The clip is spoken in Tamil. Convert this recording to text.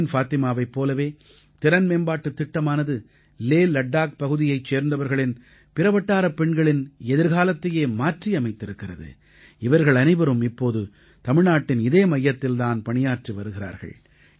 பர்வீன் ஃபாத்திமாவைப் போலவே திறன் மேம்பாட்டுத் திட்டமானது லேலட்டாக் பகுதியைச் சேர்ந்தவர்களின் பிற வட்டாரப் பெண்களின் எதிர்காலத்தையே மாற்றியமைத்திருக்கிறது இவர்கள் அனைவரும் இப்போது தமிழ்நாட்டின் அதே மையத்தில் தான் பணியாற்றி வருகிறார்கள்